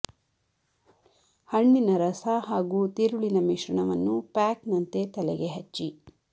ಹಣ್ಣಿನ ರಸ ಹಾಗೂ ತಿರುಳಿನ ಮಿಶ್ರಣವನ್ನು ಪ್ಯಾಕ್ ನಂತೆ ತಲೆಗೆ ಹಚ್ಚಿ